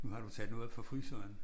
Nu har du taget noget op fra fryseren?